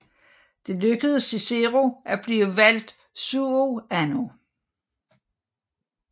Det lykkedes Cicero at blive valgt suo anno